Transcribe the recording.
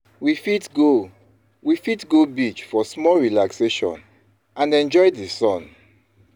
We fit go We fit go beach for small relaxation and enjoy the sun.